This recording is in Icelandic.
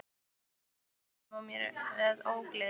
Mér er illt í maganum og með ógleði.